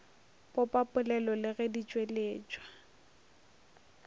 popapolelo le ge di tšweletšwa